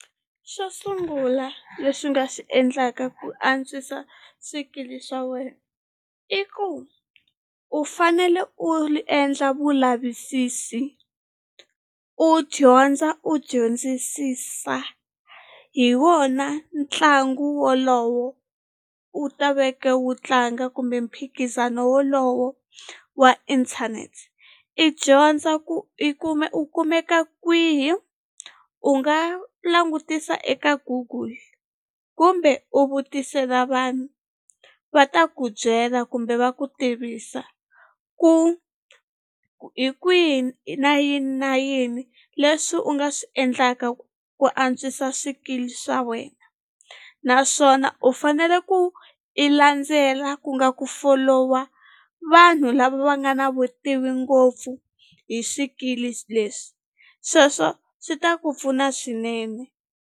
Xo sungula lexi nga xi endlaka ku antswisa swikili swa wena i ku u fanele u endla vulavisisi u dyondza u dyondzisisa hi wona ntlangu wolowo u ta veke wu tlanga kumbe mphikizano wolowo wa inthanete i dyondza i kume u kumeka kwihi u nga langutisa eka google kumbe u vutisela vanhu va ta ku byela kumbe va ku tivisa ku hi kwihi na yini na yini leswi u nga swi endlaka ku antswisa swikili swa wena naswona u fanele ku i landzela ku nga ku follow-a vanhu lava va nga na vutivi ngopfu hi swikili leswi sweswo swi ta ku pfuna swinene.